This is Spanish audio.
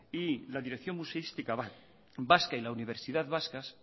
y la dirección museística vasca y la universidad vascas